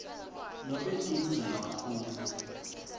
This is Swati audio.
nobe tindze kakhulu